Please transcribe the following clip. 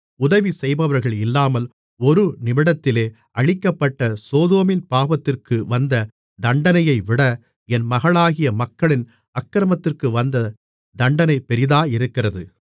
உதவி செய்பவர்கள் இல்லாமல் ஒரு நிமிடத்திலே அழிக்கப்பட்ட சோதோமின் பாவத்திற்கு வந்த தண்டனையைவிட என் மகளாகிய மக்களின் அக்கிரமத்திற்கு வந்த தண்டனை பெரிதாயிருக்கிறது